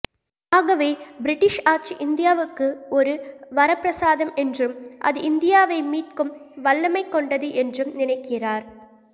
ஆகவே பிரிட்டிஷ் ஆட்சி இந்தியாவுக்கு ஒரு வரப்பிரசாதம் என்றும் அது இந்தியாவை மீட்கும் வல்லமைகொண்டது என்றும் நினைக்கிறார்